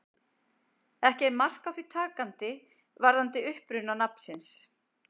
Ekki er mark á því takandi varðandi uppruna nafnsins.